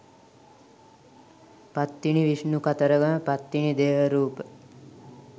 පත්තිනි විෂ්ණු කතරගම පත්තිනි දේව රූප.